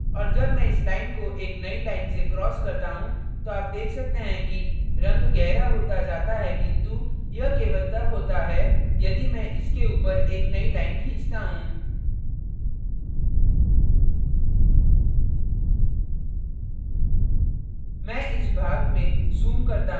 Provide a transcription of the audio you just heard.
और जब मैं इस line को एक नई line से cross करता हूँ तो आप देख सकते हैं कि रंग गहरा होता जाता है किन्तु यह केवल तब होता है यदि मैं इसके ऊपर एक नई line खींचता हूँ